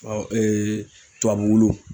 Ɔ tubabu wulu.